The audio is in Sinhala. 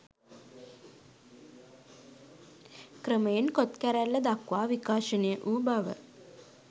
ක්‍රමයෙන් කොත් කැරැල්ල දක්වා විකාශනය වූ බව